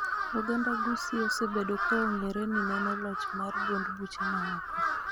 Oganda ma Gusii osebedo ka ong�ere ni neno loch mar duond buche ma oko